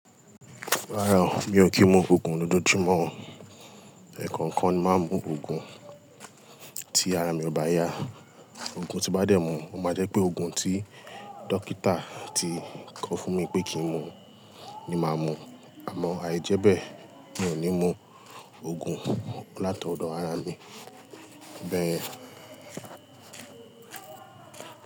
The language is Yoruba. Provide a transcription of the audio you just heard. Rárá o, mi ò kí ń mu òogùn lójoojúmọ́ o. Eẹ̀kookan ni màá n mú òogùn tí ara mi ò bá yá. Oogùn tí n bá dẹ̀ mú, o máa jẹ́ pé òogùn tí dókítà ti kọ fún mi pé kí n mu ni màá mu. Àmọ́ àìjẹ́bẹ̀ mi ò ní mú oògùn látọ̀dọ̀ ara mi. Bẹ́ẹ̀